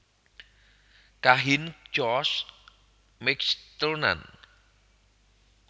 Kahin George McTurnan